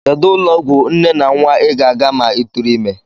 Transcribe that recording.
Kedụ ụlọọgwụ nne na nnwa I ga-aga ma ị tụrụ ime?